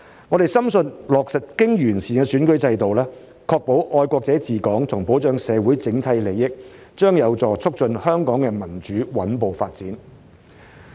我們深信落實經完善的選舉制度，確保"愛國者治港"和保障社會整體利益，將有助促進香港的民主穩步發展。